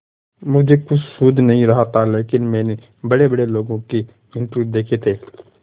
मुझे कुछ सूझ नहीं रहा था लेकिन मैंने बड़ेबड़े लोगों के इंटरव्यू देखे थे